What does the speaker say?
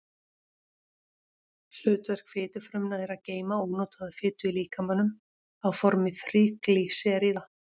Hlutverk fitufrumna er að geyma ónotaða fitu í líkamanum á formi þríglýseríða.